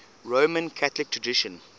roman catholic tradition